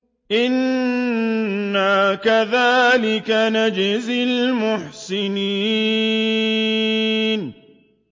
إِنَّا كَذَٰلِكَ نَجْزِي الْمُحْسِنِينَ